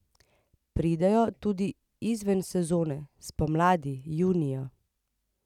Pridejo tudi izven sezone, spomladi, junija.